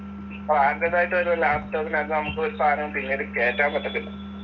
ബ്രാൻഡെഡായിട്ടുവരുന്ന ലാപ്ടോപ്പിനകത്ത് നമ്മക്കൊരു സാധനവും പിന്നീട് കേറ്റാൻ പറ്റത്തില്ല.